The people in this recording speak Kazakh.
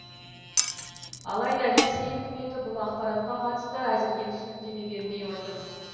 алайда ресей үкіметі бұл ақпаратқа қатысты әзірге түсініктеме бермей отыр